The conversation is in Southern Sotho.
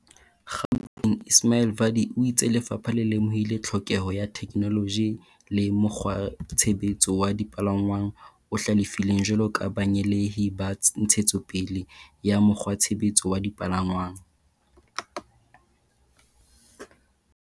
Gaut eng Ismail Vadi o itse lefapha le lemohile tlhokeho ya theke -noloji le mokgwatshebetso wa dipalangwang o hlalefileng jwalo ka banyeheli ba ntshetso pele ya mokgwatshebetso wa dipalangwang.